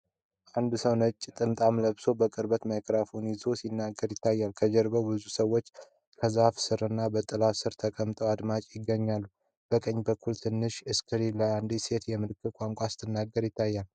አንድ ሰው ነጭ ጥምጥም ለብሶ በቅርበት ማይክሮፎን ይዞ ሲናገር ይታያል። ከጀርባው ብዙ ሰዎች ከዛፎች ስርና በጥላ ስር ተቀምጠው አዳማጮች ይገኛሉ። በቀኝ በኩል ትንሽ ስክሪን ላይ አንዲት ሴት የምልክት ቋንቋ ስትተረጉም ትታያለች።